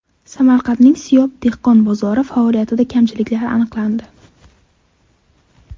Samarqandning Siyob dehqon bozori faoliyatida kamchiliklar aniqlandi.